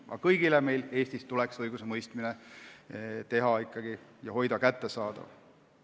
Aga kõigile tuleks õigusemõistmine Eestis hoida kättesaadavana.